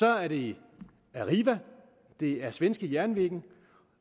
er det arriva det er svenska jernväger